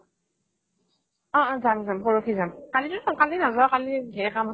অ অ যাম যাম পৰহি যাম কালিও কালি নাযাও কালি ধেৰ কাম আছে